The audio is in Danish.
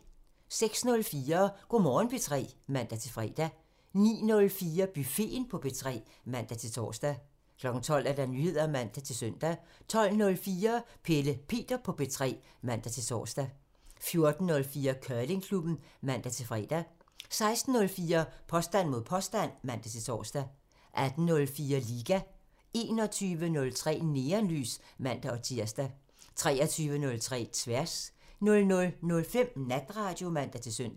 06:04: Go' Morgen P3 (man-fre) 09:04: Buffeten på P3 (man-tor) 12:00: Nyheder (man-søn) 12:04: Pelle Peter på P3 (man-tor) 14:04: Curlingklubben (man-fre) 16:04: Påstand mod påstand (man-tor) 18:04: Liga (man) 21:03: Neonlys (man-tir) 23:03: Tværs (man) 00:05: Natradio (man-søn)